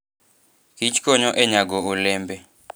Kich konyo e nyago olembe